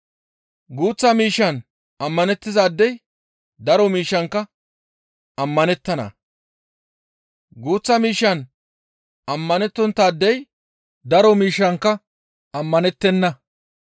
Guuththa miishshan ammanettizaadey daro miishshankka ammanettana; guuththa miishshan ammanettonttaadey daro miishshankka ammanettenna.